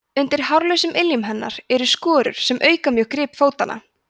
undir hárlausum iljum hennar eru skorur sem auka mjög grip fótanna